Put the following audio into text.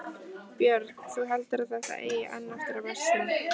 Björn: Þú heldur að þetta eigi enn eftir að versna?